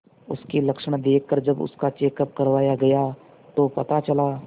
उसके लक्षण देखकरजब उसका चेकअप करवाया गया तो पता चला